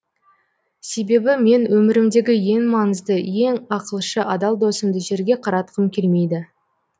себебі мен өмірімдегі ең маңызды ең ақылшы адал досымды жерге қаратқым келмейді